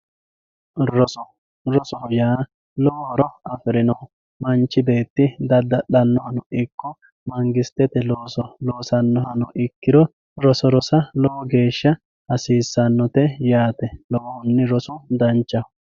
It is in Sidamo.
rose rosoho yaa lowo horo afirinoho manchi beetti dadda'lannoha ikko mangistete looso loosanoha ikkirono roso rosa lowogeesha hasiisannote yaate lowohunni rosu danchaho